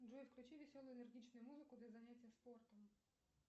джой включи веселую энергичную музыку для занятий спортом